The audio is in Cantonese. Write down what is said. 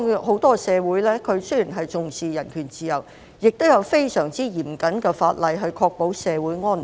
很多西方社會雖然重視人權自由，但亦有非常嚴謹的法例，以確保社會安寧。